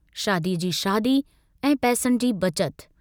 शादीअ जी शादी ऐं पैसनि जी बचत।